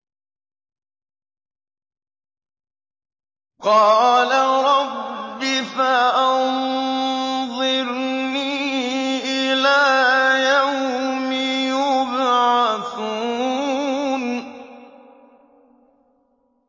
قَالَ رَبِّ فَأَنظِرْنِي إِلَىٰ يَوْمِ يُبْعَثُونَ